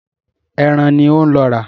Ẹran ni ó ń lọ rà.